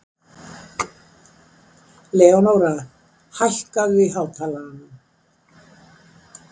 Leónóra, hækkaðu í hátalaranum.